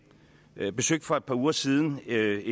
jeg besøgte for par uger siden et